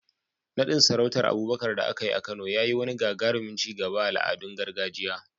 Naɗin sarautar Abubakar da aka yi a Kano ya yi wani gagarumin ci gaba a al'adun gargajiya.